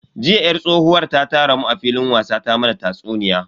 Jiya yar tsohuwar ta tara mu a filin wasa ta mana tatsuniya.